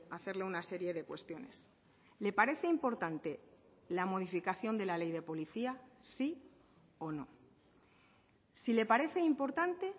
hacerle una serie de cuestiones le parece importante la modificación de la ley de policía sí o no si le parece importante